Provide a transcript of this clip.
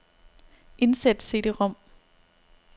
Indsæt cd-rom.